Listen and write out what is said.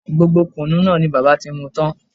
Gbogbo kùnú náà ni bàbá mi ti mú tan